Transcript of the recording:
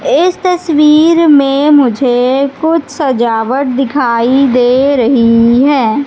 इस तस्वीर मे मुझे कुछ सजावट दिखाई दे रही है।